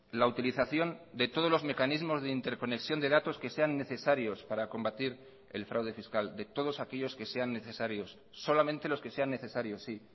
la utilización de todos los mecanismos de interconexión de datos que sean necesarios para combatir el fraude fiscal de todos aquellos que sean necesarios solamente los que sean necesarios sí